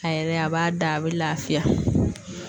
A yɛrɛ a b'a da a bɛ lafiya.